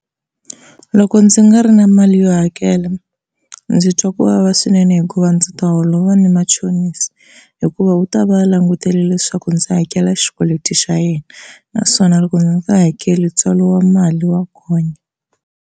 Loko ndzi nga ri na mali yo hakela ndzi twa ku vava swinene hikuva ndzi ta holova ni machonisi hikuva u ta va langutele leswaku ndzi hakela xikweleti xa yena naswona loko ndzi nga hakeli ntswalo wa mali wa gonya.